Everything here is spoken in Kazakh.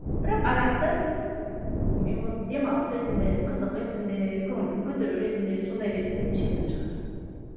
бірақ арақты демалыс ретінде қызық ретінде көңіл күй көтеру ретінде сондай ретінде ішетін шығар